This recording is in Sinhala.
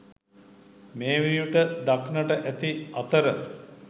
මේ වන විට දක්නට ඇති අතර